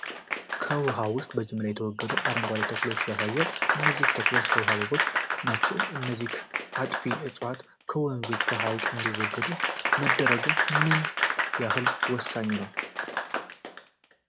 ከውሃ ውስጥ በጅምላ የተወገዱ አረንጓዴ ተክሎችን ያሳያል። እነዚህ ተክሎች የውሃ አበቦች ናቸው? እነዚህ አጥፊ እፅዋቶች ከወንዞችና ከሐይቆች እንዲወገዱ መደረጉ ምን ያህል ወሳኝ ነው?